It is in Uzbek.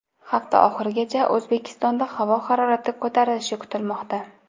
Hafta oxirigacha O‘zbekistonda havo harorati ko‘tarilishi kutilmoqda.